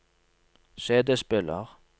CD-spiller